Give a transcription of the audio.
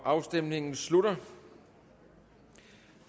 afstemningen slutter